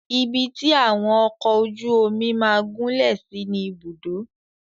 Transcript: Ibi tí àwọn ọkọ ojú omi máà gúnlẹ̀ sí ni Ibùdó.